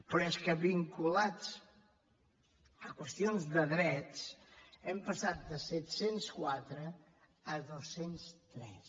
però és que vinculats a qüestions de drets hem passat de set cents i quatre a dos cents i tres